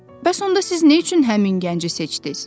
Bəs onda siz nə üçün həmin gənci seçdiz?